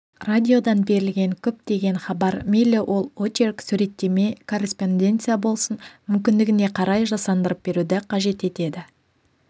радиодан берілген көптеген хабар мейлі ол очерк суреттеме корреспонденция болсын мүмкіндігіне қарай жасандырып беруді қажет етеді